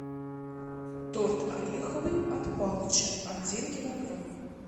торт ореховый от палыча один килограмм